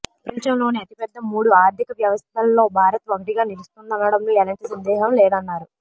ప్రపంచంలోని అతిపెద్ద మూడు ఆర్థిక వ్యవస్థల్లో భారత్ ఒకటిగా నిలుస్తుందనడంలో ఎలాంటి సందేహం లేదన్నారు